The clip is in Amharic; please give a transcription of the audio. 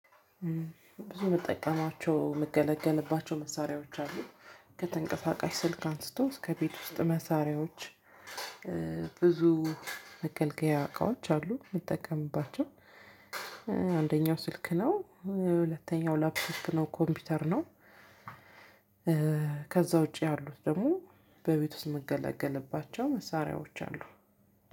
ብዙ ምጠቀማቸው ምገለገልባቸው መሳሪያዎች አሉ ከተንቀሳቃሽ ስልክ አንስቶ እስከ ቤት ውስጥ መሳሪያዎች ብዙ መገልገያ እቃዎች አሉ ምጠቀምባቸው አንደኛው ስልክ ነው ሁለተኛው ላፕቶፕ ነው ኮምፒውተር ነው ከዛ ውጪ ያሉት ደግሞ በቤት ውስጥ ምገለገልባቸው መሳሪያዎች አሉ።